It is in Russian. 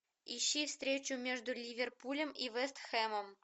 ищи встречу между ливерпулем и вест хэмом